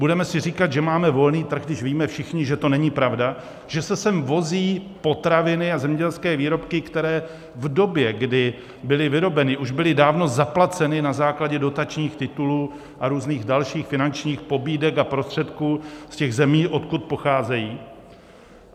Budeme si říkat, že máme volný trh, když víme všichni, že to není pravda, že se sem vozí potraviny a zemědělské výroby, které v době, kdy byly vyrobeny, už byly dávno zaplaceny na základě dotačních titulů a různých dalších finančních pobídek a prostředků z těch zemí, odkud pocházejí?